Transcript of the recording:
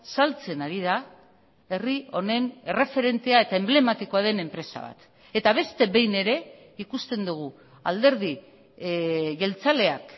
saltzen ari da herri honen erreferentea eta enblematikoa den enpresa bat eta beste behin ere ikusten dugu alderdi jeltzaleak